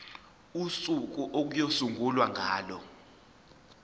usuku okuyosungulwa ngalo